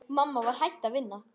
Mamma var hætt að vinna.